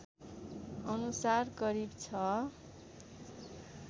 अनुसार करिब ६